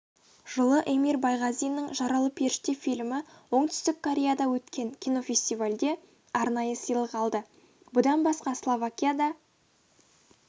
жылы эмир байғазиннің жаралы періште фильмі оңтүстік кореяда өткен кинофестивальде арнайы сыйлық алды бұдан басқа словакияда